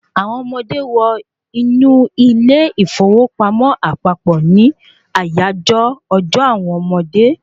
Àwọn ọmọdé wọ inú ilé ìfowópamọ́ àpapọ̀ ní àyájọ́ ọjọ́ àwọn ọmọdé